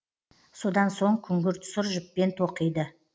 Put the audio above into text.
содан соң күңгірт сұр жіппен тоқиды